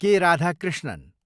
के. राधाकृष्णन